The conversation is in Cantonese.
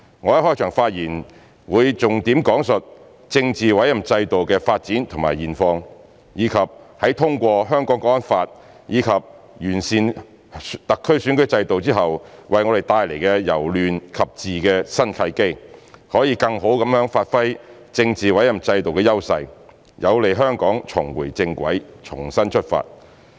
我的開場發言會重點講述政治委任制度的發展和現況，以及在通過《香港國安法》及完善香港特區選舉制度後為我們帶來由亂及治的新契機，可以更好地發揮政治委任制度的優勢，有利香港重回正軌，重新出發。